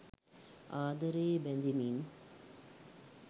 ආදරයේ බැ‍ඳෙමින්